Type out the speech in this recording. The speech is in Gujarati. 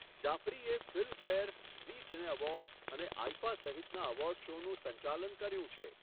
જાફરીએ ફિલ્મફેર, ઝી સિને એવોર્ડ્સ અને આઈફા સહિતના એવોર્ડ શોનું સંચાલન કર્યું છે.